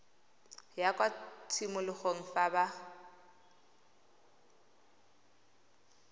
ya kwa tshimologong fa ba